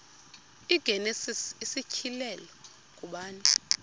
igenesis isityhilelo ngubani